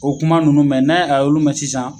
O kuma ninnu mɛn, n'a ye a y'olu mɛn sisan